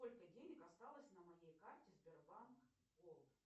сколько денег осталось на моей карте сбербанк голд